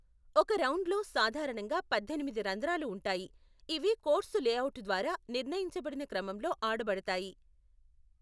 ఒక రౌండ్ లో సాధారణంగా పద్దెనిమిది రంధ్రాలు ఉంటాయి, ఇవి కోర్సు లేఅవుట్ ద్వారా నిర్ణయించబడిన క్రమంలో ఆడబడతాయి.